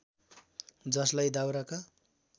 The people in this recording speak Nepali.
जसलाई दाउराका